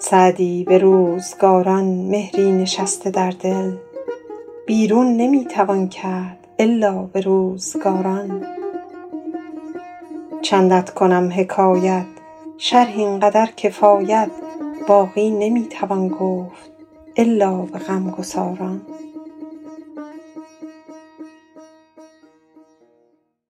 سعدی به روزگاران مهری نشسته در دل بیرون نمی توان کرد الا به روزگاران چندت کنم حکایت شرح این قدر کفایت باقی نمی توان گفت الا به غمگساران